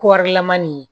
Kɔrilaman nin ye